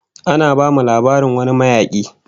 Ana bamu labarin wani mayaki